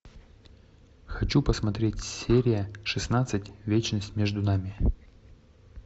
хочу посмотреть серия шестнадцать вечность между нами